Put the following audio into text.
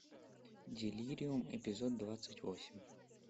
делириум эпизод двадцать восемь